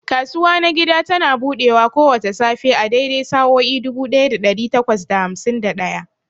Kasuwa na gida tana buɗewa kowace safe a daidai sa'o'i dubu ɗaya da ɗari takwas da hamsin da ɗaya.